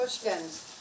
Xoş gəlmisiz.